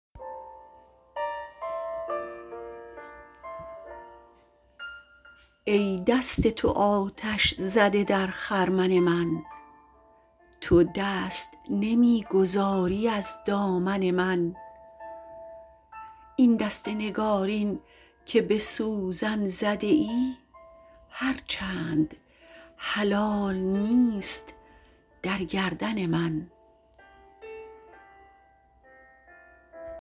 ای دست تو آتش زده در خرمن من تو دست نمی گذاری از دامن من این دست نگارین که به سوزن زده ای هرچند حلال نیست در گردن من